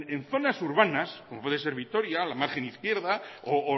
en zonas urbanas como puede ser vitoria la margen izquierda o